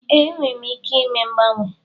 Ee, m nwere ike ime mgbanwe.